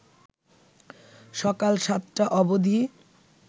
সকাল ৭টা অবধি